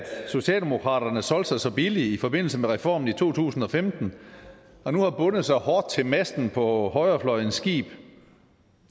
socialdemokraterne solgte sig så billigt i forbindelse med reformen i to tusind og femten og nu har bundet sig hårdt til masten på højrefløjens skib